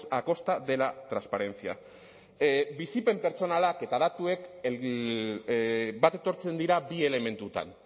a costa de la transparencia bizipen pertsonalak eta datuak bat etortzen dira bi elementutan